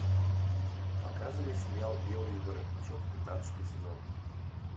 показывай сериал белый воротничок пятнадцатый сезон